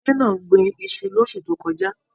Ìdílé náà gbìn Isu l'osu tó kọjá.